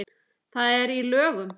Það er í lögum.